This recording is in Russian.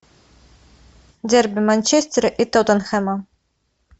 дерби манчестера и тоттенхэма